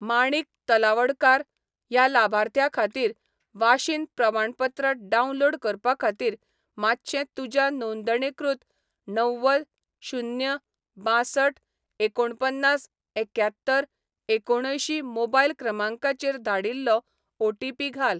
माणिक तलवडकार ह्या लाभार्थ्या खातीर वाशीन प्रमाणपत्र डावनलोड करपा खातीर, मातशें तुज्या नोंदणीकृत णव्वद शून्य बांसठ एकुणपन्नास एक्यात्तर एकुणअंयशीं मोबायल क्रमांकाचेर धाडिल्लो ओ.टी.पी. घाल.